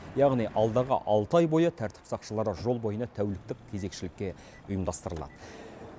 яғни алдағы алты ай бойы тәртіп сақшылары жол бойына тәуліктік кезекшілікке ұйымдастырады